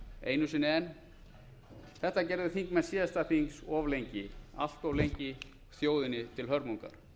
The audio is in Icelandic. einu sinni enn þetta gerðu þingmenn síðasta þings of lengi allt of lengi þjóðinni til hörmungar